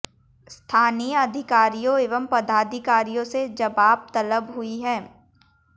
स्थानीय अधिकारियों एवं पदाधिकारियों से जबाब तलब हुई हैं